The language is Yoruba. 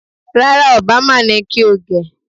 Rárá, Obama ni kí o gẹ̀